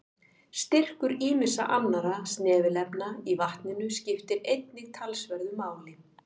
Styrkur ýmissa annarra snefilefna í vatninu skiptir einnig talsverðu máli.